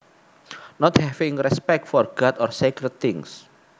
Not having respect for God or sacred things